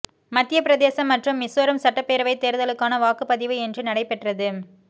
மத்திய பிரதேசம் மற்றும் மிசோரம் சட்டப்பேரவை தேர்தலுக்கான வாக்குப்பதிவு இன்று நடைபெற்றது